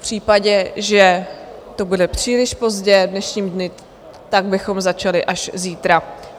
V případě, že to bude příliš pozdě v dnešním dni, tak bychom začali až zítra.